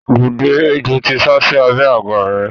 Dìde! Ejò ti sásí abẹ́ àga rẹ.